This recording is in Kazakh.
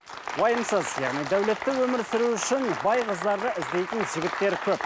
уайымсыз яғни дәулетті өмір сүру үшін бай қыздарды іздейтін жігіттер көп